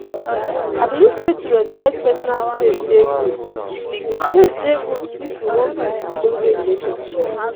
i believe sey to respect personal space dey good space dey good if you wan build ogbonge relationship.